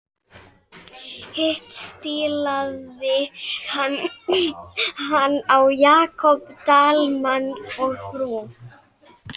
Hitt stílaði hann á Jakob Dalmann og frú.